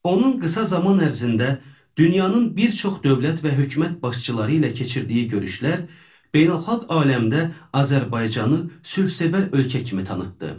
Onun qısa zaman ərzində dünyanın bir çox dövlət və hökumət başçıları ilə keçirdiyi görüşlər beynəlxalq aləmdə Azərbaycanı sülhsevər ölkə kimi tanıtdı.